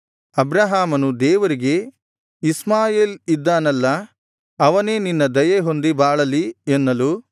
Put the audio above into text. ಅಬ್ರಹಾಮನು ದೇವರಿಗೆ ಇಷ್ಮಾಯೇಲ್ ಇದ್ದಾನಲ್ಲಾ ಅವನೇ ನಿನ್ನ ದಯೆ ಹೊಂದಿ ಬಾಳಲಿ ಎನ್ನಲು